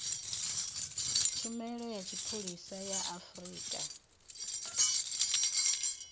tshumelo ya tshipholisa ya afrika